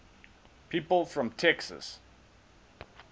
people from texas